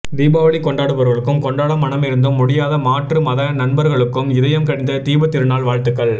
தீபாவளி கொண்டாடுபவர்களுக்கும் கொண்டாட மனமிருந்தும் முடியாத மாற்று மத நண்பர்களுக்கும் இதயம் கனிந்த தீபத்திருநாள் வாழ்த்துக்கள்